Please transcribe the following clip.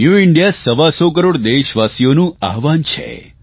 new India સવા સો કરોડ દેશવાસીઓનું આહવાન છે